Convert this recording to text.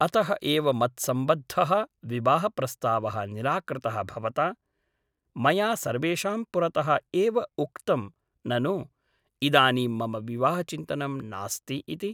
अतः एव मत्सम्बद्धः विवाहप्रस्तावः निराकृतः भवता मया सर्वेषां पुरतः एव उक्तं ननु इदानीं मम विवाहचिन्तनं नास्ति इति ।